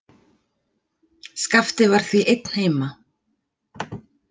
Skapti var því einn heima.